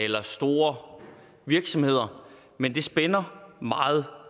eller store virksomheder men det spænder meget